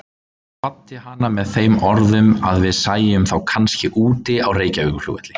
Ég kvaddi hana með þeim orðum að við sæjumst þá kannski úti á Reykjavíkurflugvelli.